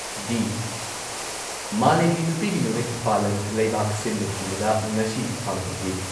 ꯗꯤ ꯃꯥꯂꯦꯝꯒꯤ ꯅꯨꯄꯤꯒꯤ ꯅꯨꯃꯤꯠ ꯄꯥꯂꯟ ꯂꯩꯕꯥꯛ ꯁꯤꯟꯕ ꯊꯨꯡꯕꯗ ꯉꯁꯤ ꯄꯥꯡꯊꯣꯛꯂꯤ ꯫